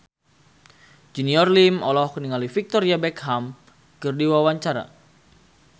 Junior Liem olohok ningali Victoria Beckham keur diwawancara